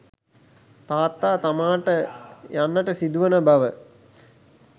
තාත්තා තමාට යන්නට සිදුවන බව